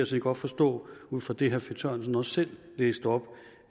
set godt forstå ud fra det herre finn sørensen også selv læste op